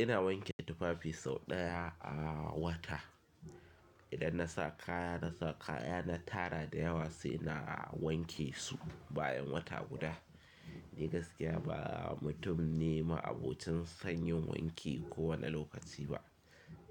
Ina wanke tufafi sau ɗaya a wata. Idan na sa kaya na sa kaya na tara da yawa sai na wanke su bayan wata guda. Ni gaskiya ba mutum ne ma abocin sanyin wanki kowane lokaci ba.